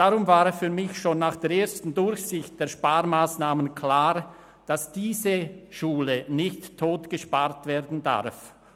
Deshalb war für mich schon nach der ersten Durchsicht der Sparmassnahmen klar, dass diese Schule nicht totgespart werden darf.